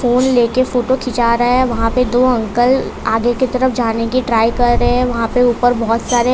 फूल ले के फोटो खींचा रहा है वहां पे दो अंकल आगे की तरफ जाने की ट्राई कर रहे हैं वहां पे ऊपर बहुत सारे--